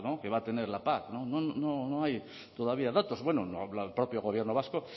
que va a tener la pac no hay todavía datos el propio gobierno vasco